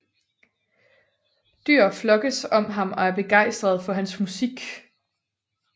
Dyr flokkes om ham og er begejstrede for hans musik